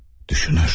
Düşünür.